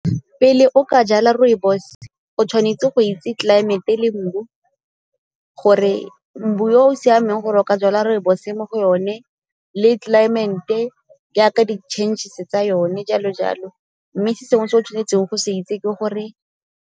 Pele o ka jala rooibos o tshwanetse go itse tlelaemete le mbu gore mbu o o siameng gore o ka jala rooibos mo go yone le tlelaemete jaaka di-changes tsa yone jalo jalo. Mme se sengwe se o tshwanetseng go se itse ke gore.